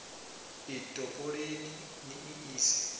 i topoleni ni i ise